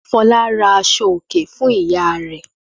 Fọlá ra aṣọòkè fún ìyá rẹ̀.